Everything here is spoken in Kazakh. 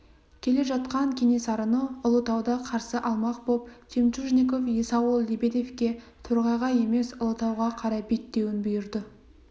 келе жатқан кенесарыны ұлытауда қарсы алмақ боп жемчужников есауыл лебедевке торғайға емес ұлытауға қарай беттеуін бұйырды